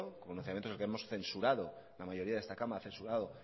pronunciamientos de lo que hemos censurado la mayoría de esta cámara ha censurado